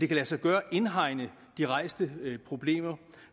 kan lade sig gøre at indhegne de rejste problemer